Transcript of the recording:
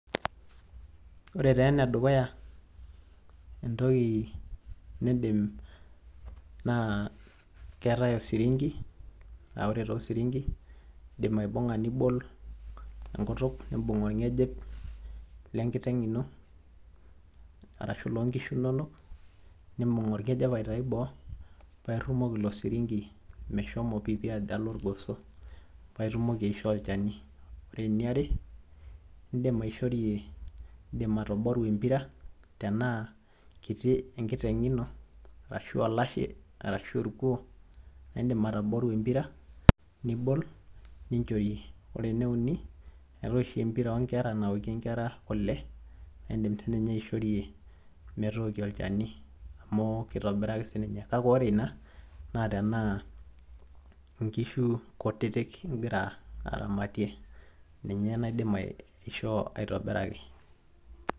Ore taa enedukuya entoki niindim naa keetai osiringi aa ore taa osiringi, indim aibung'aa nibol enkutuk nimbung' olng'ejep lenkiteng' ino arashu loonkishu inonok, nimbung' olng'ejep aitayu boo paa irrumoki ilo siringi meshom piipi ajo alo ilgoso paa itumoki aishoo olchani. Ore eniare indim aishorie, indim atoboru empira tenaa kiti enkiteng' ino arashu olashe arashu olkuo naa indim atoboru empira nibol ninchorie. Ore eneuni eetai oshi empira oonkera nawokie nkera kule naa indim sii ninye aishorie metookie olchani amu keitobiraki sii ninye, kake ore ina naa tenaa inkishu kutiti igira aramatie ninye naidim aishoo aitobiraki.